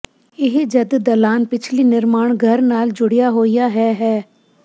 ਇਹ ਜਦ ਦਲਾਨ ਪਿਛਲੀ ਨਿਰਮਾਣ ਘਰ ਨਾਲ ਜੁੜਿਆ ਹੋਇਆ ਹੈ ਹੈ